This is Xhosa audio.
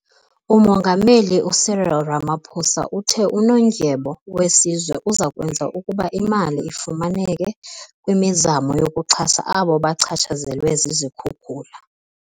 Umongameli u-Cyril Ramaphosa uthe uNondyebo weSizwe uza kwenza ukuba imali ifumaneke kwimizamo yokuxhasa abo bachatshazelwe zizikhukula.